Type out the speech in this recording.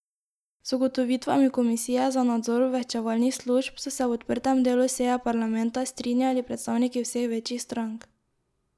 S ugotovitvami komisije za nadzor obveščevalnih služb so se v odprtem delu seje parlamenta strinjali predstavniki vseh večjih strank.